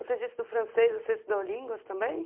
Você disse do francês, você estudou línguas também?